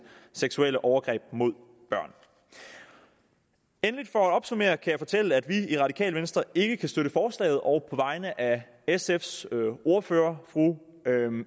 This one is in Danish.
seksuelle overgreb mod børn endelig for at opsummere kan jeg fortælle at vi i radikale venstre ikke kan støtte forslaget og på vegne af sfs ordfører fru